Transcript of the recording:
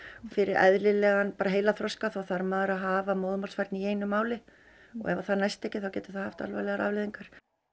fyrir eðlilegan þarf maður að hafa í einu máli og ef það næst ekki þá getur það haft alvarlegar afleiðingar